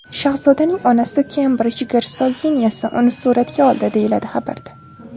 Shahzodaning onasi Kembrij gersoginyasi uni suratga oldi”, deyiladi xabarda.